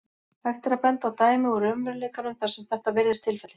Hægt er að benda á dæmi úr raunveruleikanum þar sem þetta virðist tilfellið.